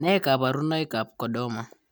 Nee kabarunoikab Chordoma?